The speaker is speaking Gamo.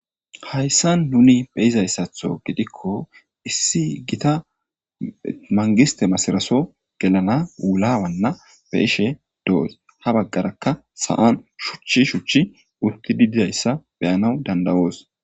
Hayssa nuni beyizayssatho gidikko issi gita mangiste masiraso gelana wulaawanna beishe doos ha baggarakka sa'an shuchchi shuchchi utti dididayssa beyanaw dandawoos